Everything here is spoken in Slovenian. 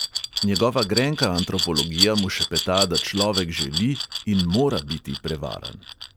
Njegova grenka antropologija mu šepeta, da človek želi in mora biti prevaran.